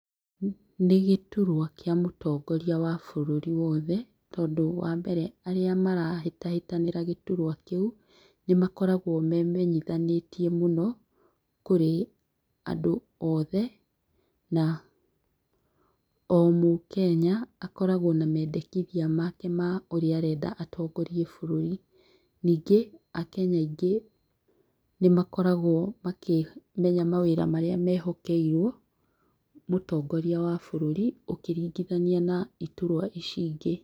Nĩ gĩturwa kĩa mũtongoria wa bũrũri wothe tondũ wa mbere arĩa marahĩtahitanĩra gĩturwa kĩu nĩ makoragwo memenyithanĩtie mũno kũrĩ andũ othe na o mũkenya akoragwo na mendekithia make ma ũria arenda atongorie bũrũri. Ningĩ akenya aingĩ nĩmakoragwo makĩmenya mawĩra marĩa mehokeirwo mũtongoria wa bũrũri ũkĩringithania na iturwa ici ingĩ.